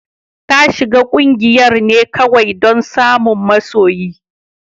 Ta shiga kungiyar ne kawai don samun masoyi.